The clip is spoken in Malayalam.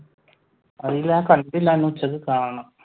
ഞാൻ കണ്ടിട്ടില്ല ഉച്ചക്ക് കാണണം.